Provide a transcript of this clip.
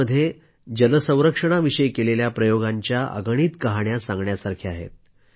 देशभरामध्ये जल संरक्षणाविषयी केलेल्या प्रयोगांच्या अगणित कहाण्या सांगण्यासारख्या आहेत